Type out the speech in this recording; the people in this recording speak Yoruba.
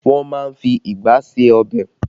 Wọn má ń fi igbá ṣe ọbẹ̀